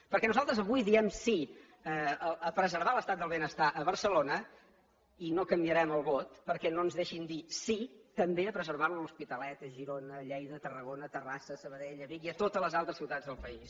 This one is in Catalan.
perquè nosaltres avui diem sí a preservar l’estat del benestar a barcelona i no canviarem el vot perquè no ens deixin dir sí també a preservar lo a l’hospitalet a girona a lleida a tarragona a terrassa a sabadell a vic i a totes les altres ciutats del país